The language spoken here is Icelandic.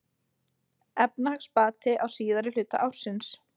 Efnahagsbati á síðari hluta ársins